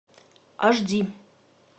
аш ди